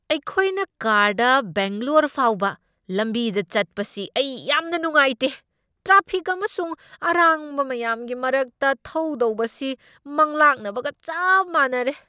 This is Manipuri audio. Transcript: ꯑꯩꯈꯣꯏꯅ ꯀꯥꯔꯗ ꯕꯦꯡꯒ꯭ꯂꯣꯔ ꯐꯥꯎꯕ ꯂꯝꯕꯤꯗ ꯆꯠꯄꯁꯤ ꯑꯩ ꯌꯥꯝꯅ ꯅꯨꯡꯉꯥꯏꯇꯦ ꯫ ꯇ꯭ꯔꯥꯐꯤꯛ ꯑꯃꯁꯨꯡ ꯑꯔꯥꯡꯕ ꯃꯌꯥꯝꯒꯤ ꯃꯔꯛꯇ ꯊꯧꯗꯧꯕꯁꯤ ꯃꯪꯂꯥꯛꯅꯕꯒ ꯆꯞ ꯃꯥꯟꯅꯔꯦ!